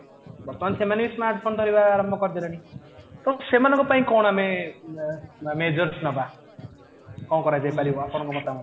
ବର୍ତ୍ତମାନ ସେମାନେ ବି ସ୍ମାର୍ଟ ଫୋନ ଧରିବା ଆରମ୍ଭ କରିଦେଲେଣି ତ ସେମାନଙ୍କ ପାଇଁ କଣ ଆମେ majors ନବା କଣ କରିଯାଇପାରିବ ଆପଣଙ୍କ ମତାମତ ରେ